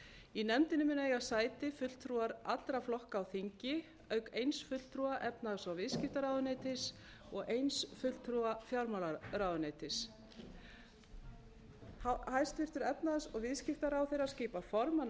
í nefndinni munu eiga sæti fulltrúar allra flokka á þingi auk eins fulltrúa efnahags og viðskiptaráðuneytis og eins fulltrúa fjármálaráðuneytis hæstvirtur efnahags og viðskiptaráðherra skipar formann